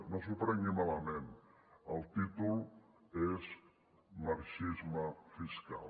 no s’ho prengui malament el títol és marxisme fiscal